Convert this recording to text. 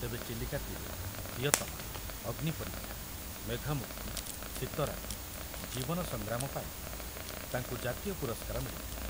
ତେବେ ଚିଲିକା ତୀରେ, ପ୍ରିୟତମା, ଅଗ୍ନିପରୀକ୍ଷା, ମେଘମୁକ୍ତି, ଶୀତରାତି, ଜୀବନ ସଂଗ୍ରାମ ପାଇଁ ତାଙ୍କୁ ଜାତୀୟ ପୁରସ୍କାର ମିଳିଥିଲା।